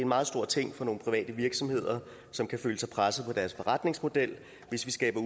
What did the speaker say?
meget stor ting for nogle private virksomheder som kan føle sig presset på deres forretningsmodel hvis vi skaber